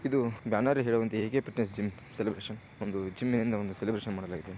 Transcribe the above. ಇದು ಬ್ಯಾನರ್ ಹೇಳುವಂತೆ A K fitness gym celebration ಒಂದು ಜಿಮ್ ಎನ್ನೋ ಒಂದು ಸೆಲೆಬ್ರೇಶನ್ ಮಾಡಲಾಗಿದೆ.